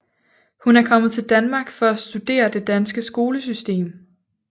Hun er kommet til Danmark for at studere det danske skolesystem